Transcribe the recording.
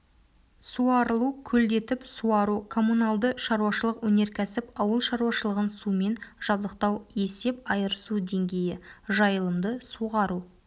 суарылу көлдетіп суару коммуналды шаруашылық өнеркәсіп ауыл шаруашылығын сумен жабдықтау есеп айырысу деңгейі жайылымды суғару